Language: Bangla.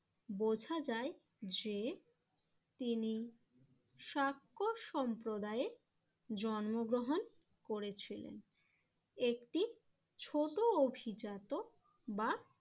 বোঝা যায় যে তিনি শাক্য সম্প্রদায়ের জন্মগ্রহণ করেছিলেন। একটি ছোট অভিজাত বা